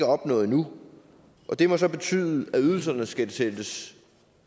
opnået endnu det må så betyde at ydelserne skal sættes